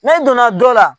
N'an donna dɔ la